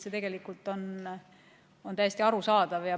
See on täiesti arusaadav.